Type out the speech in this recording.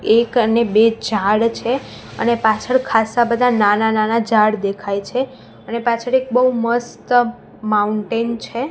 એક અને બે ઝાડ છે અને પાછડ ખાસ્સા બધા નાના નાના ઝાડ દેખાઈ છે અને પાછડ એક બઉ મસ્ત માઉન્ટેન છે.